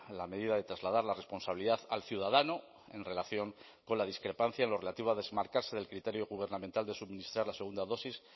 la medida de trasladar la responsabilidad al ciudadano en relación con la discrepancia en lo relativo a desmarcarse del criterio gubernamental de suministrar la segunda dosis